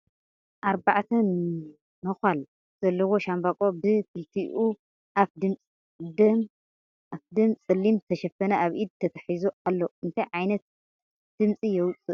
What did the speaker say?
ኣርባዕተ ነካል ዘለዋ ሻምቦቆ ብ ክልቲኡ ኣፍ ድም ፀሊም ዝተሸፍነ ኣብ ኢድ ተተሒዙ ኣሎ ። እንታይ ዕይነት ድምፂ የውፅእ ?